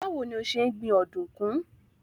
Báwo ni o ṣe ń gbin ọ̀dùnkún?